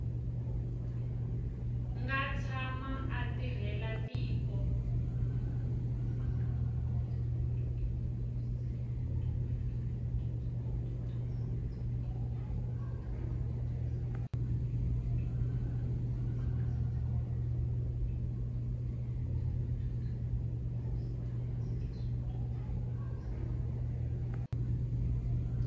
nga tshama a tirhela tiko